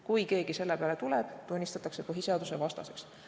Kui keegi selle peale tuleb, tunnistatakse see põhiseadusvastaseks.